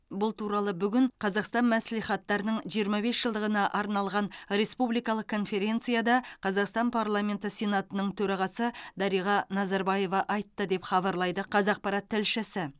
бұл туралы бүгін қазақстан мәслихаттарының жиырма бес жылдығына арналған республикалық конференцияда қазақстан парламенті сенатының төрағасы дариға назарбаева айтты деп хабарлайды қазақпарат тілшісі